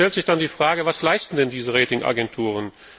Da stellt sich dann die Frage Was leisten denn diese Rating Agenturen?